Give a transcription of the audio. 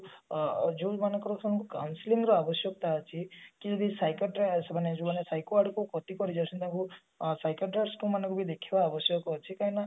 ଅ ଯୋଉ ମାନଙ୍କର ସବୁ counselling ର ଆବଶ୍ୟକତା ଅଛି କି physiocratic କି ଯୋଉ ମାନେ psycho ଗାଈ କରିଯାଉଛନ୍ତି ସେମାନଙ୍କୁ psychotic's ମାନଙ୍କୁ ବି ଦେଖିବା ଆବଶ୍ୟକ ଅଛି କାହିଁକି ନା